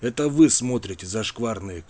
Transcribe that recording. это вы смотрите зашкварные